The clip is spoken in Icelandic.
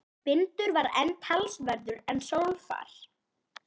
Vindur var enn talsverður en sólfar.